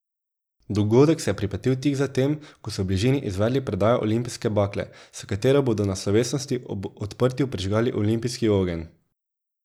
Dogodek se je pripetil tik zatem, ko so v bližini izvedli predajo olimpijske bakle, s katero bodo na slovesnosti ob odprtju prižgali olimpijski ogenj.